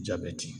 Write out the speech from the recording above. Jabɛti